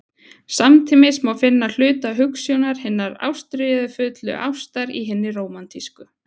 Samtímis má finna hluta hugsjónar hinnar ástríðufullu ástar í hinni rómantísku.